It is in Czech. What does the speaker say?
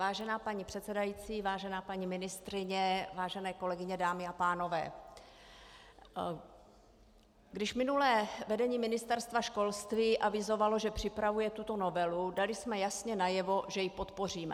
Vážená paní předsedající, vážená paní ministryně, vážené kolegyně, dámy a pánové, když minulé vedení Ministerstva školství avizovalo, že připravuje tuto novelu, dali jsme jasně najevo, že ji podpoříme.